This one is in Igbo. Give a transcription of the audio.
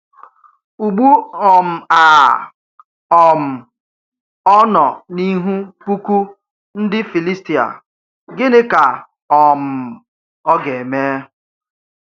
Ugbu um a, um ọ nọ n’ihu puku ndị Filistia, gịnị ka um ọ ga-eme?